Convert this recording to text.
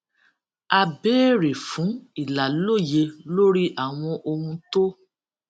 a béèrè fún ìlàlóye lórí àwọn ohun tó